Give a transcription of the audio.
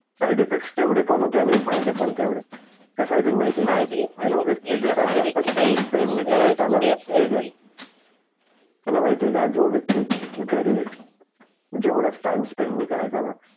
side effect ठेवडे पण होते आणि फायदे पण तेवढेच तास आहे अजून माहीत आहे का जो वेक्त घरात जास्त टाइम स्पेंड नाही करायचा न ठीक आहे तुला माहीत आहे का जो व्येक्तीघर जेवड टाइम स्पेंड नही करायचा न